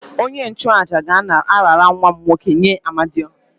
Onye-nchu-àjà ga-arara nwa m nwoke nye Amadiọha